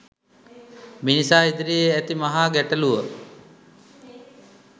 මිනිසා ඉදිරියේ ඇති මහා ගැටලුව